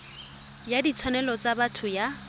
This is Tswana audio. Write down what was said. ya ditshwanelo tsa botho ya